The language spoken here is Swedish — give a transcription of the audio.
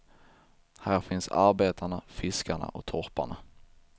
Här finns arbetarna, fiskarna och torparna.